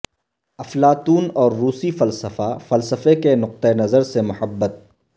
افلاطون اور روسی فلسفہ فلسفہ کے نقطہ نظر سے محبت